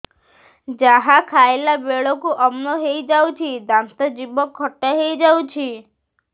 ଯାହା ଖାଇଲା ବେଳକୁ ଅମ୍ଳ ହେଇଯାଉଛି ଦାନ୍ତ ଜିଭ ଖଟା ହେଇଯାଉଛି